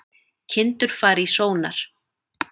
Kindur fara í sónar